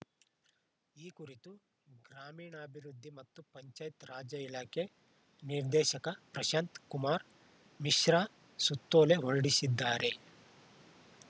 ಈ ಕುರಿತು ಗ್ರಾಮೀಣಾಭಿವೃದ್ದಿ ಮತ್ತು ಪಂಚಾಯತ್‌ ರಾಜ ಇಲಾಖೆ ನಿರ್ದೇಶಕ ಪ್ರಶಾಂತಕುಮಾರ್‌ ಮಿಶ್ರಾ ಸುತ್ತೋಲೆ ಹೊರಡಿಸಿದ್ದಾರೆ